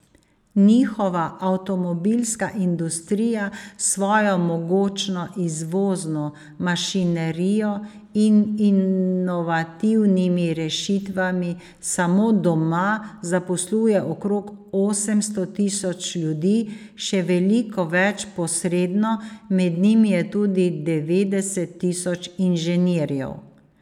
Njihova avtomobilska industrija s svojo mogočno izvozno mašinerijo in inovativnimi rešitvami samo doma zaposluje okrog osemsto tisoč ljudi, še veliko več posredno, med njimi je tudi devetdeset tisoč inženirjev.